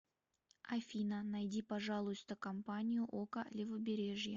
афина найди пожалуйста компанию ока левобережье